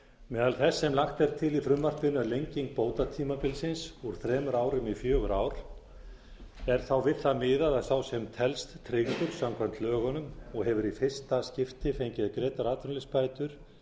meðal þess sem lagt til í frumvarpinu er fengið bótatímabilsins úr þremur árum í fjögur ár er þá við það miðað að sá sem telst tryggður samkvæmt lögunum og hefur í fyrsta skipti fengið greiddar atvinnuleysisbætur